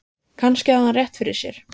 Kannski hafði hann rétt fyrir sér.